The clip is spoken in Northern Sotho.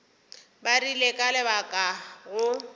ba rile ka leka go